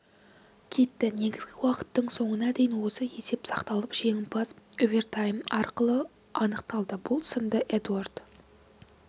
кетті негізгі уақыттың соңына дейін осы есеп сақталып жеңімпаз овертайм арқылы анықталды бұл сында эдуард